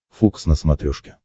фокс на смотрешке